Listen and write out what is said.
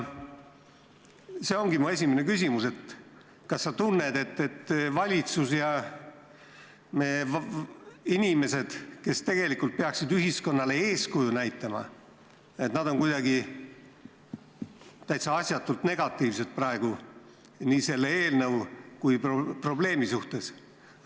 See ongi mu esimene küsimus: kas sa tunned, et valitsus ja inimesed, kes peaksid ühiskonnale eeskuju näitama, on kuidagi täitsa asjatult negatiivsed praegu nii selle eelnõu kui ka probleemi suhtes?